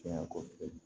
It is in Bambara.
Cɛn kɔ